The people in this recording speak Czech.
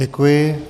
Děkuji.